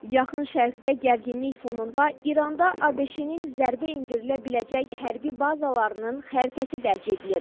Yaxın Şərqdə gərginlik fonunda İranda ABŞ-nin zərbə endirilə biləcək hərbi bazalarının xəritəsi dərc edilib.